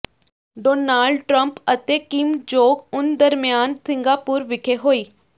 Donald Trump ਅਤੇ Kim Jong Un ਦਰਮਿਆਨ Singapore ਵਿਖੇ ਹੋਈ